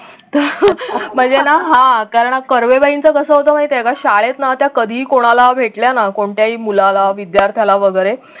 तर म्हणजे ना हा कारण कर्वे बाईंचं कस होत माहितीये का शाळेतना त्या कधीही कोणाला भेटल्या ना कोणत्याही मुलाला विद्यार्थ्याला वगैरे